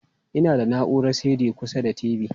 E, ina da na'urar CD kusa da TV.